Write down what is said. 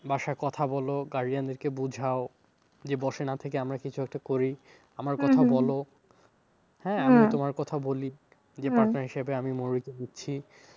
বাসায় কথা বলো guardian দের কে বোঝাও যে বসে না থেকে আমরা কিছু একটা করি, বলো, কথা বলি partner হিসাবে আমি মৌরিকে নিচ্ছি।